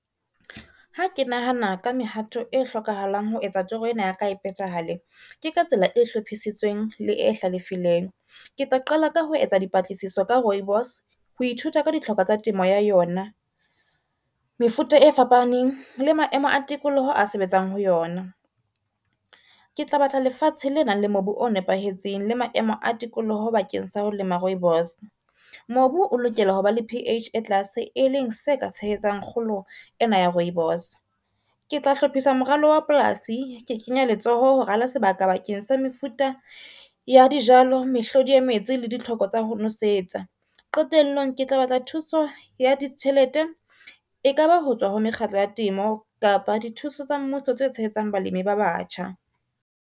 Ha ke nahana ka mehato e hlokahalang ho etsa toro ena ya ka e phethahale. Ke ka tsela e hlophisitsweng le e hlalefileng. Ke tla qala ka ho etsa dipatlisiso ka rooibos ho ithuta ka ditlhoko tsa temo ya yona. Mefuta e fapaneng le maemo a tikoloho a sebetsang ho yona, ke tla batla lefatshe le nang le mobu o nepahetseng le maemo a tikoloho bakeng sa ho lema rooibos. Mobu o lokela ho ba le P_H e tlase, e leng se ka tshehetsang kgolo ena ya rooibos. Ke tla hlophisa moralo wa polasi ke kenye letsoho ho rala sebaka bakeng sa mefuta ya dijalo, mehlodi ya metsi le ditlhoko tsa ho nosetsa. Qetellong, ke tla batla thuso ya ditjhelete e kaba ho tswa ho mekgatlo ya temo kapa dithuso tsa mmuso tse tshehetsang balemi ba batjha.